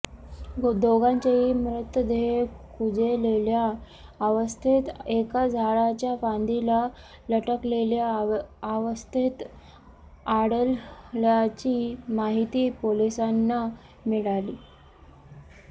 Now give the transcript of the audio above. दोघांचेही मृतदेह कुजलेल्या अवस्थेत एकाच झाडाच्या फांदीला लटकलेल्या अवस्थेत आढळल्याची माहिती पोलिसांना मिळाली